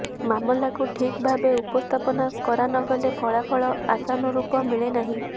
ମାମଲାକୁ ଠିକ୍ ଭାବେ ଉପସ୍ଥାପନ କରା ନଗଲେ ଫଳାଫଳ ଆଶାନୁରୂପ ମିଳେ ନାହିଁ